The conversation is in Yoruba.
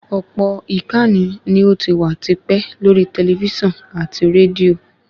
Ọ̀pọ̀ ìkànnì ní ò ti wà ti pẹ́ lórí tẹlifísàn àti rédíò